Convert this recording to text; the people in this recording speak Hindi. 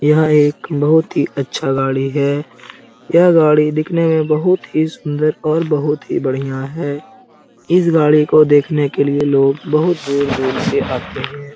यह एक बहुत ही अच्छा गाड़ी है | यह गाड़ी दिखने में बहुत ही सुंदर और बहुत ही बढियां है। इस गाड़ी को देखने के लिए लोग बहुत दूर-दूर से आते हैं ।